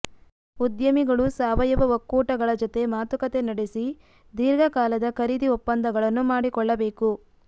ಉದ್ಯಮಿಗಳು ಸಾವಯವ ಒಕ್ಕೂಟಗಳ ಜತೆ ಮಾತುಕತೆ ನಡೆಸಿ ದೀರ್ಘಕಾಲದ ಖರೀದಿ ಒಪ್ಪಂದಗಳನ್ನು ಮಾಡಿಕೊಳ್ಳಬೇಕು